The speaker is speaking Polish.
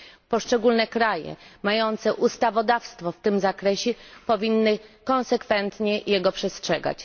Poszczególne kraje mające ustawodawstwo w tym zakresie powinny go konsekwentnie przestrzegać.